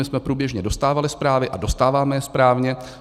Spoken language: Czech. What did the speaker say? My jsme průběžně dostávali zprávy a dostáváme je správně.